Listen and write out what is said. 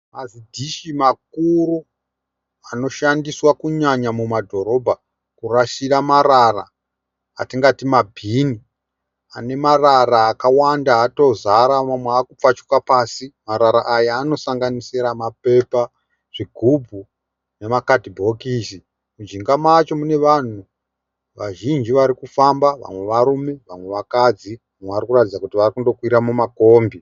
Mazidhshi makuru anoshandiswa kunyanya mudhorobha kurasira marara , atingati mabhini, anemarara kawanda akutozara. manwe akutopfachuka pasi Marara aya anosanganisira mapepa, zvigubhu nemakadhibhokisi. Mujinga macho munevanhu vazhinji varikufamba vamwe varume, vamwe vakadzi mamwe varikuratidza kuti varikukwira makombi.